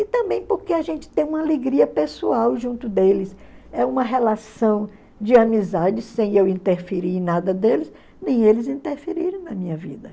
E também porque a gente tem uma alegria pessoal junto deles, é uma relação de amizade sem eu interferir em nada deles, nem eles interferirem na minha vida.